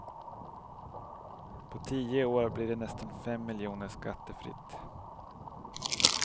På tio år blir det nästan fem miljoner skattefritt.